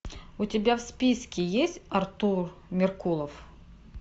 у тебя в списке есть артур меркулов